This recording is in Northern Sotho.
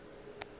ke ge a napile a